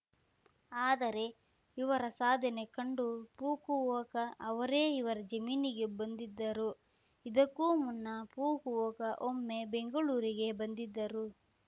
ಆದರೆ ಇವರ ಸಾಧನೆ ಕಂಡು ಫುಕುವೋಕ ಅವರೇ ಇವರ ಜಮೀನಿಗೆ ಬಂದಿದ್ದರು ಇದಕ್ಕೂ ಮುನ್ನ ಫುಕುವೋಕ ಒಮ್ಮೆ ಬೆಂಗಳೂರಿಗೆ ಬಂದಿದ್ದರು